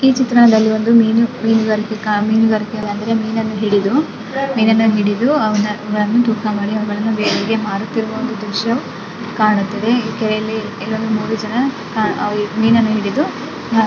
ಈ ಚಿತ್ರಣದಲ್ಲಿ ಒಂದು ಮೀನು ಮೀನುಗಾರಿಕೆ ಮೀನುಗಾರಿಕೆ. ಮೀನನ್ನು ಹಿಡಿದುಮೀನನ್ನು ಹಿಡಿದು ತಂದು ತೂಕ ಮಾಡಿ ಅವನ್ನು ಬೇರೆಯವರಿಗೆ ಮಾಡುತ್ತಿರುವ ದೃಶ್ಯ ಕಾಣುತ್ತದೆ ಇಲ್ಲಿ ಮೂರು ಜನ ಮೀನನ್ನು ಹಿಡಿದು--